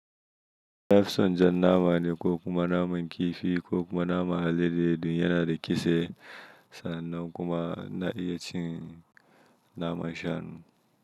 Nafison jan nama ne ko kuma naman kifi ko kuma naman hallade ɗin yana da kisa sannan kuma na iya cin naman shanu.